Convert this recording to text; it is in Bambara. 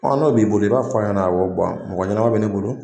Ɔn n'o b'i bolo, i b'a fɔ a ɲana awɔ, mɔgɔ ɲɛnama be ne bolo.